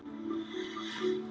Það sér það hver maður.